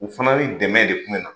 U fana ni dɛmɛ de kun mina